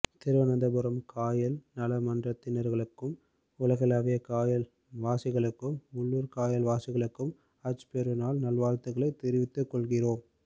திருவனந்தபுரம் காயல் நலமன்றதினர்களுக்கும் உலகளாவிய காயல் வாசிகளுக்கும் உள்ளூர் காயல் வாசிகளுக்கும் ஹஜ் பெருநாள் நல்வாழ்த்துகளை தெரிவித்து கொள்கிறோம்